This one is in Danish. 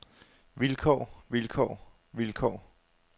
vilkår vilkår vilkår